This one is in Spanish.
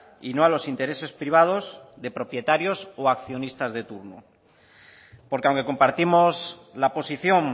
y no a los intereses privados de propietarios o accionistas de turno porque aunque compartimos la posición